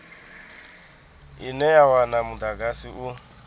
ine ya wana mudagasi u